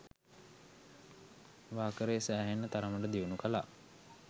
වාකරේ සෑහෙන්න තරමට දියුණු කළා.